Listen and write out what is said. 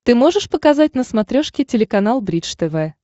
ты можешь показать на смотрешке телеканал бридж тв